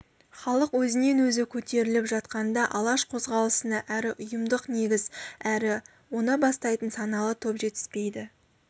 халық өзінен-өзі көтеріліп жатқанда алаш қозғалысына әрі ұйымдық негіз әрі оны бастайтын саналы топ жетіспейді